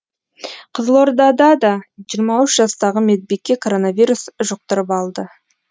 қызылорда да жиырма үш жастағы медбике коронавирус жұқтырып алды